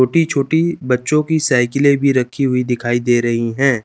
छोटी छोटी बच्चों की साइकिलें भी रखी दिखाई दे रही हैं।